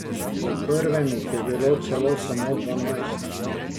V prvem jih je bilo celo samo dvanajst.